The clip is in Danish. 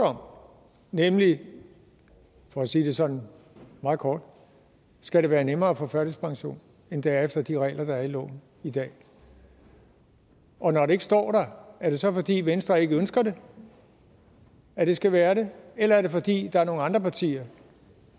om nemlig for at sige det sådan meget kort skal det være nemmere at få førtidspension end det er efter de regler der er i loven i dag og når det ikke står der er det så fordi venstre ikke ønsker at det skal være der eller er det fordi der er nogle andre partier